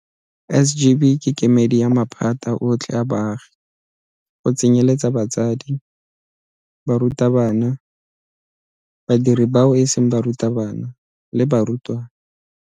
SGB ke kemedi ya maphata otlhe a baagi go tsenyeletsa batsadi, barutabana, badiri bao e seng barutabana le barutwana.